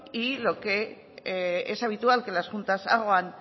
y lo que es habitual que las juntas hagan